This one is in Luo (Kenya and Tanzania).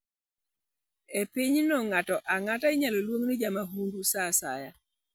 E pinyno, ng'ato ang'ata inyalo luong ni jamahundu sa asaya.